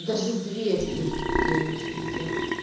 даже две снежинки я ещё видела